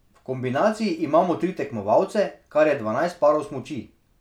V kombinaciji imamo tri tekmovalce, kar je dvanajst parov smuči.